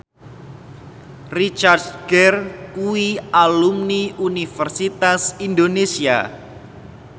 Richard Gere kuwi alumni Universitas Indonesia